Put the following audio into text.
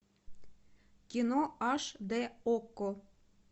кино аш дэ окко